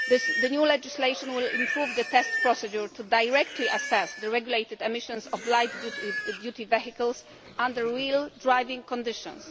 The new legislation will improve the test procedure for directly assessing the regulated emissions of light duty vehicles under real driving conditions.